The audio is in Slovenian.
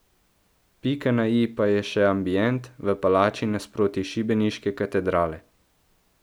Pika na i pa je še ambient, v palači nasproti šibeniške katedrale.